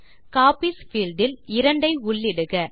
copies field இல் 2 ஐ உள்ளிடுக